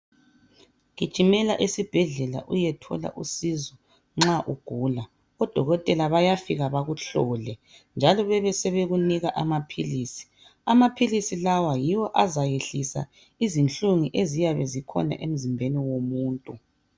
Gijimela esibhedlela uyethola usizo nxa ugula odokotela bayafika bekuhlole besebekunika amapills amapills lawa yiwo azayehlisa izibuhlungu eziyabe zikhona emzimbeni womuntu